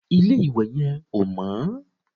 Ilé-ìwẹ̀ yẹn ò mọ́